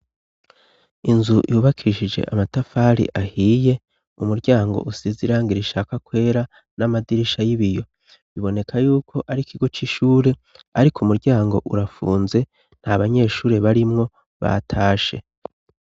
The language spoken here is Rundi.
Inzu yubakishije amatafari ahiye ,umuryango usize irangi rishaka kwera ,n'amadirisha y'ibiyo biboneka yuko ari ikigo c'ishure, ariko umuryango urafunze nta banyeshuri barimwo batashe.